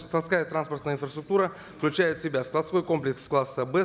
складская транспортная инфраструктура включает в себя складской комплекс класса б